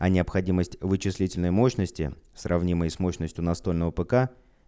а необходимость вычислительной мощности сравнимы с мощностью настольного пк